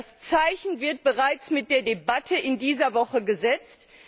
Das Zeichen wird bereits mit der Debatte in dieser Woche gesetzt.